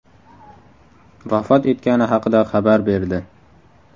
vafot etgani haqida xabar berdi .